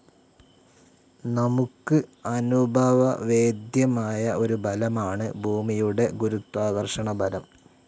നമുക്ക് അനുഭവവേദ്യമായ ഒരു ബലമാണ് ഭൂമിയുടെ ഗുരുത്വാകർഷണബലം.